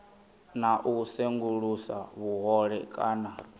na u sengulusa vhuhole kana